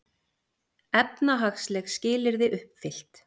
Efnahagsleg skilyrði uppfyllt